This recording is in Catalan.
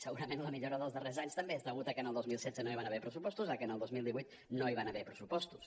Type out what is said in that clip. segurament la millora dels darrers anys també és deguda a que el dos mil setze no hi van haver pressupostos a que el dos mil divuit no hi van haver pressupostos